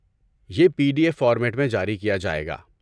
یہ P D F format میں جاری کیا جائے گا۔